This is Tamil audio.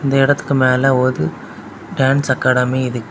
இந்த இடத்துக்கு மேல ஒரு டான்ஸ் அகாடெமி இருக்கு.